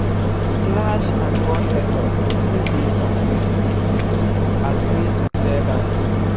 slash and burn method still dey some places as way to clear land.